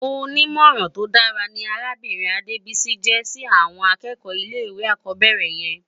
Ónimòrán tó dàrá ni Arábirin Adebisi jè si àwòn ákèékò ilé iwé ákòbèrè yèn